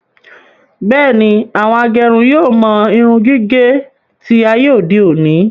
Bẹ́ẹ̀ni, àwọn agẹrun yóò mọ irun gígé tí ayé òde òni